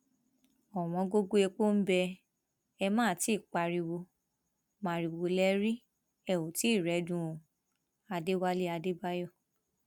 òwòǹgògó epo bẹ ẹ má ti í í pariwo maiwo lè rí ẹ ó tì í rẹẹdùn o adéwálé adébáyò